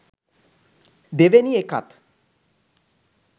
දෙවෙනි එකත්